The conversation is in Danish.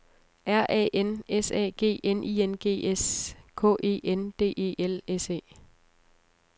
R A N S A G N I N G S K E N D E L S E